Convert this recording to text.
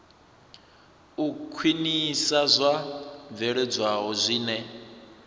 u khwinisa zwo bveledzwaho zwine